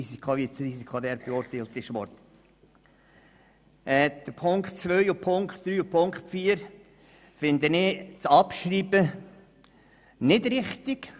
Bei den Ziffern 2, 3 und 4 halte ich die Abschreibung nicht für richtig.